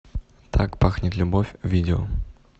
так пахнет любовь видео